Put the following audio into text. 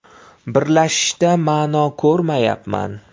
Birlashishda ma’no ko‘rmayapman.